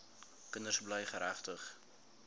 kinders bly geregtig